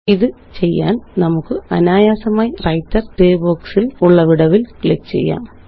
ഇതു ചെയ്യാന് നമുക്ക് അനായാസമായി വ്രൈട്ടർ ഗ്രേ boxല് ഉള്ള വിടവില് ക്ലിക്ക് ചെയ്യാം